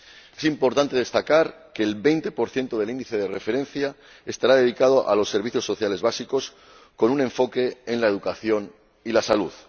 Es importante destacar que el 20 del índice de referencia estará dedicado a los servicios sociales básicos con un enfoque en la educación y en la salud.